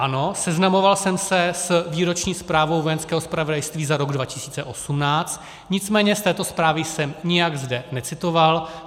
Ano, seznamoval jsem se s výroční zprávou Vojenského zpravodajství za rok 2018, nicméně z této zprávy jsem nijak zde necitoval.